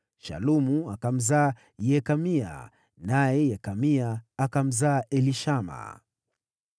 Shalumu akamzaa Yekamia, naye Yekamia akamzaa Elishama.